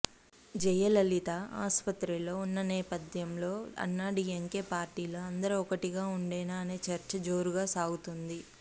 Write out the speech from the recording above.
జయలలిత ఆసుపత్రిలో ఉన్న నేపథ్యంలో అన్నాడీఎంకే పార్టీలో అందరూ ఒక్కటిగా ఉండేనా అనే చర్చ జోరుగా సాగుతోంది